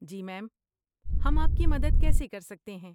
جی ma'am, ہم آپ کی مدد کیسے کر سکتے ہیں؟